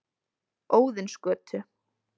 Óðinsgötu